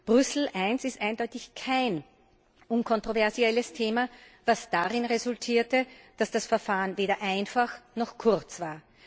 Brüssel I ist eindeutig kein unkontroverses Thema, was darin resultierte, dass das Verfahren weder einfach noch kurz war.